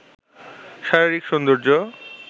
শারীরিক সৌন্দর্য